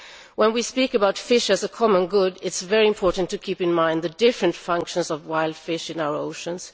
When we speak about fish as a common good it is very important to keep in mind the different functions of wild fish in our oceans.